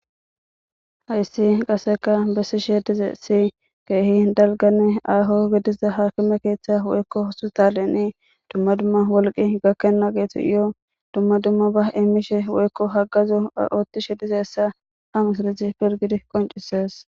hayssi qaseka bessishe dizaysii keehi dalgane aaho gidiza haakime keeththa woykko hosu taleni dumma dumma wolqi gakkena geetu yo dumma dumma ba eemishe woykko haggazo oottishe dizaysa ha misilizi pilgid qoncises